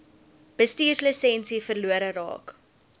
bestuurslisensie verlore raak